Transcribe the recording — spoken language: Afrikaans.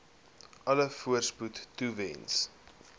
alle voorspoed toewens